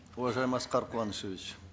уважаемый аскар куанышевич